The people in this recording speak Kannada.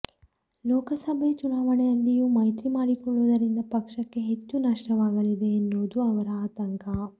ಲೋಕಸಭೆ ಚುನಾವಣೆಯಲ್ಲಿಯೂ ಮೈತ್ರಿ ಮಾಡಿಕೊಳ್ಳುವುದರಿಂದ ಪಕ್ಷಕ್ಕೆ ಹೆಚ್ಚು ನಷ್ಟವಾಗಲಿದೆ ಎನ್ನುವುದು ಅವರ ಆತಂಕ